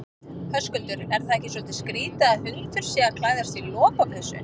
Höskuldur: Er það ekki svolítið skrítið að hundur sé að klæðast lopapeysu?